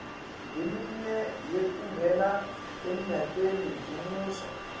leminye yekungena emnyakemi lomusha